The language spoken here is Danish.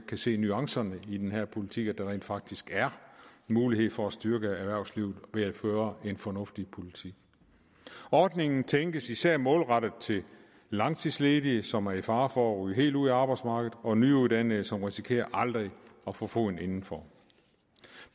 kan se nuancerne i den her politik altså at der rent faktisk er mulighed for at styrke erhvervslivet ved at føre en fornuftig politik ordningen tænkes især målrettet til langtidsledige som er i fare for at ryge helt ud af arbejdsmarkedet og nyuddannede som risikerer aldrig at få foden indenfor